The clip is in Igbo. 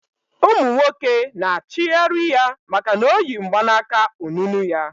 Umu nwoke na achighari ya maka na oyi mgbanaka onunu ya